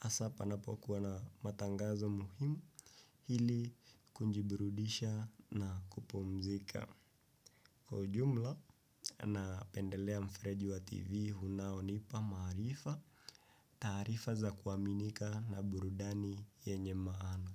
hasa panapokuwa na matangazo muhimu ili kujiburudisha na kupumzika. Kwa ujumla, napendelea mfereji wa TV, unaonipa maarifa, taarifa za kuaminika na burudani yenye maana.